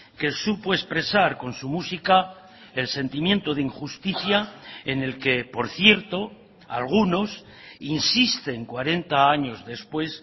que supo expresar con su música el sentimiento de injusticia en el que por cierto algunos insisten cuarenta años después